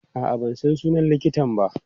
A'a, ban san sunan likitan ba.